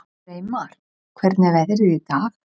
Reimar, hvernig er veðrið í dag?